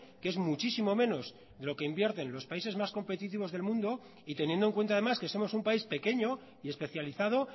que es muchísimo menos de lo que invierten los países más competitivos del mundo y teniendo en cuenta además que somos un país pequeño y especializado